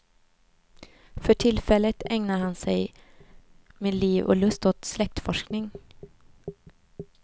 För tillfället ägnar han sig med liv och lust åt släktforskning.